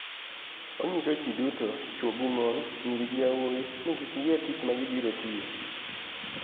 Oniyiso ji duto chwo gi moni, niyiri gi yawuowi nii kik giyier tich ma gibiro tiyo.